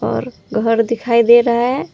पर घघरी दिखाई दे रहा है।